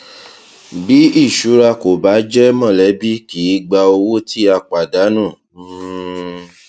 bí ìṣura kò bá jẹ mọlẹbí kì í gba owó tí a pàdánù um